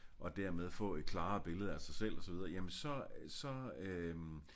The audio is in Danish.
Og dermed få et klarere billede af sig selv og så videre jamen så øh så øh